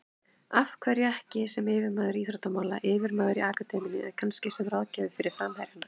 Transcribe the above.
Af hverju ekki sem yfirmaður íþróttamála, yfirmaður í akademíunni eða kannski sem ráðgjafi fyrir framherjana?